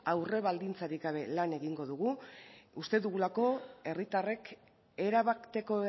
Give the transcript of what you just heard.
aurre baldintzarik gabe lan egingo dugu uste dugulako herritarrek erabateko